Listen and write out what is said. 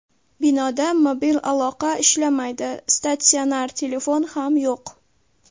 Binoda mobil aloqa ishlamaydi, statsionar telefon ham yo‘q.